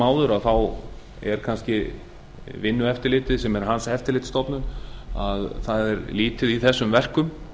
áður er vinnueftirlitið sem er hans eftirlitsstofnun lítið í þessum verkum